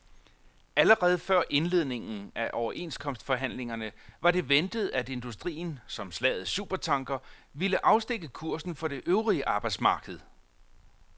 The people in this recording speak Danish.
Allerede før indledningen af overenskomstforhandlingerne var det ventet, at industrien som slagets supertanker ville afstikke kursen for det øvrige arbejdsmarked.